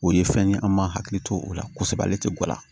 O ye fɛn ye an m'a hakili to o la kosɛbɛ ale tɛ gɔla